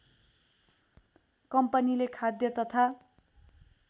कम्पनीले खाद्य तथा